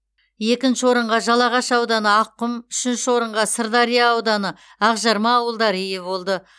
екінші орынға жалағаш ауданы аққұм үшінші орынға сырдария ауданы ақжарма ауылдары ие болды